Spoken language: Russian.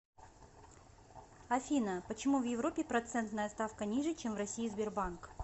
афина почему в европе процентная ставка ниже чем в россии сбербанк